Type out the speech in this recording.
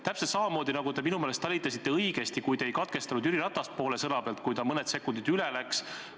Te minu meelest talitasite õigesti, kui ei katkestanud Jüri Ratast poole sõna pealt, kui ta mõned sekundid üle läks.